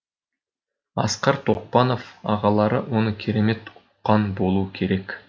асқар тоқпанов ағалары оны керемет ұққан болуы керек